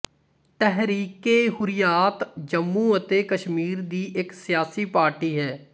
ਤਹਿਰੀਕਏਹੁਰੀਆਤ ਜੰਮੂ ਅਤੇ ਕਸ਼ਮੀਰ ਦੀ ਇੱਕ ਸਿਆਸੀ ਪਾਰਟੀ ਹੈ